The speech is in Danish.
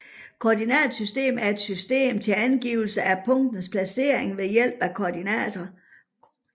Koordinatsystem er et system til angivelse af punkters placering ved hjælp af koordinater